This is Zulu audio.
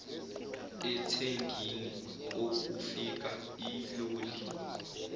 ethangini okufika iloli